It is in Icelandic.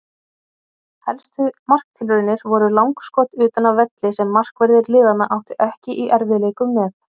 Helstu marktilraunir voru langskot utan af velli sem markverðir liðanna áttu ekki í erfiðleikum með.